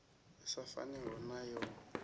i sa faniho na yo